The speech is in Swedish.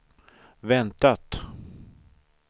väntat